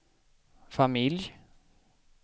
familj